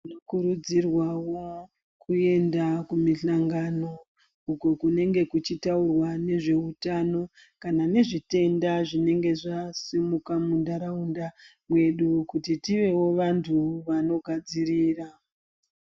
Tinokorudzirwawo kuemda kumihlangano uko kunge kuchutaurwa nezvehutano kana nezvitenda zvinenge zvasimuka mundaraunda medu kuti tiwewo vanhu vanogadzirira.